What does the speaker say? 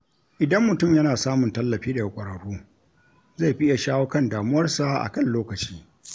Idan mutum yana samun tallafi daga ƙwararru, zai fi iya shawo kan damuwarsa a kan lokaci.